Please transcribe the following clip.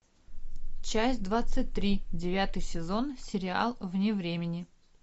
часть двадцать три девятый сезон сериал вне времени